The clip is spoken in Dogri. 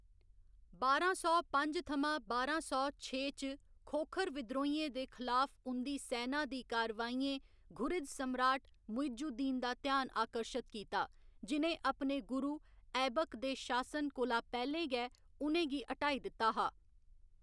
बारां सौ पंज थमां बारां सौ छे च खोखर विद्रोहियें दे खलाफ उं'दी सैना दी कारवाइयें घुरिद सम्राट मुइज उद दीन दा ध्यान आकर्शत कीता, जि'नें अपने गुरु ऐबक दे शासन कोला पैह्‌लें गै उ'नें गी हटाई दित्ता हा।